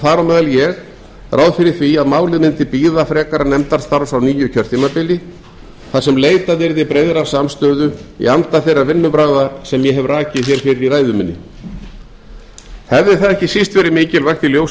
meðal ég ráð fyrir því að málið mundi bíða frekara nefndarstarfs á nýju kjörtímabili þar sem leitað yrði breiðrar samstöðu í anda þeirra vinnubragða sem ég hef rakið hér fyrr í ræðu minni hefði það ekki síst verið mikilvægt í ljósi